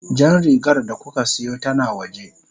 Jan rigar da kuka siyo tana waje.